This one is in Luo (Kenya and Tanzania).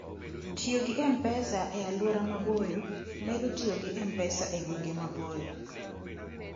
Tiyo gi M-Pesa e Alwora Maboyo: Medo tiyo gi M-Pesa e gwenge maboyo.